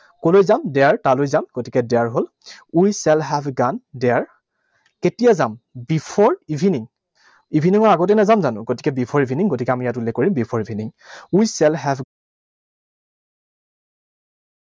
কলৈ যাম। There, তালৈ যাম। গতিকে there হল। We shall have gone there, কেতিয়া যাম? Before evening. Evening ৰ আগতেই নাযাম জানো? গতিকে before evening, গতিকে আমি ইয়াত উল্লেখ কৰিম before evening. We shall have